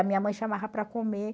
A minha mãe chamava para comer.